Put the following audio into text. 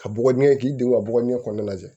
Ka bɔgɔ ɲɛ k'i don ka bɔgɔ ɲɛ kɔnana lajɛ